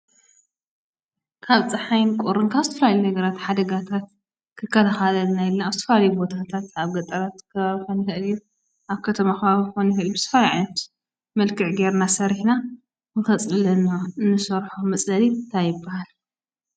ካብ ፀሓይን ቁሪን ካብ ዝተፈላለዩ ነገራት ሓደጋታት ክከላኸለልና ኢልና አብ ዝተፈላለዩ ቦታታት አብ ገጠር ከባቢ ክኸውን ይኽእል እዩ፣ አብ ከተማ ከባቢ ክኸውን ይኽእል እዩ፣ ብዝተፈላለየ ዓይነት መልክዕ ገይርና ሰሪሕና ንከፅልለና እንሰርሖ መፅለሊ እንታይ ይበሃል?